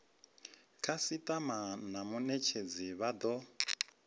khasitama na munetshedzi vha do